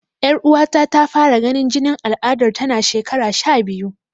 Yar'uwata ta fara ganin jinin aladar tana shekara sha biyu.